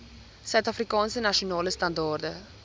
suidafrikaanse nasionale standaarde